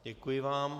Děkuji vám.